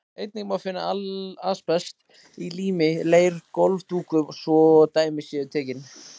Einnig má finna asbest í lími, leir og gólfdúkum, svo dæmi séu tekin.